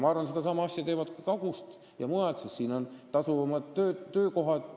Ma arvan, et sedasama teevad Kagu-Eestist ja mujalt pärit inimesed, sest siin on praegu tasuvamad töökohad.